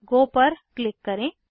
गो पर क्लिक करें